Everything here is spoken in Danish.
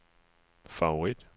favorit